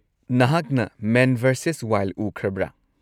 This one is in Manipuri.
ꯅꯍꯥꯛꯅ ꯃꯦꯟ ꯚꯔꯁꯦꯁ ꯋꯥꯏꯜꯗ ꯎꯈ꯭ꯔꯕ꯭ꯔꯥ?